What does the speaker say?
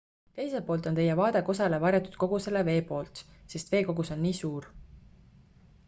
teiselt poolt on teie vaade kosele varjatud kogu selle vee poolt sest vee kogus on nii suur